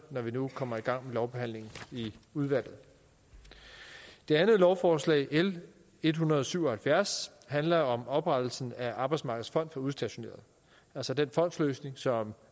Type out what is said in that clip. når vi nu kommer i gang med lovbehandlingen i udvalget det andet lovforslag l en hundrede og syv og halvfjerds handler om oprettelsen af arbejdsmarkedets fond for udstationerede altså den fondsløsning som